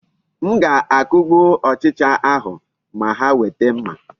M ga-akugbu ochịcha ahụ ma ha weta mma.